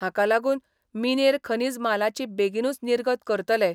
हाका लागून मिनेर खनिज मालाची बेगिनूच निर्गत करतले.